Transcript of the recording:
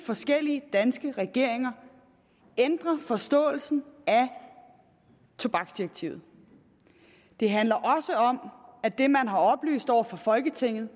forskellige danske regeringer ændrer forståelsen af tobaksdirektivet det handler også om at det man har oplyst over for folketinget